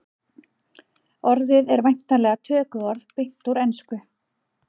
orðið er væntanlega tökuorð beint úr ensku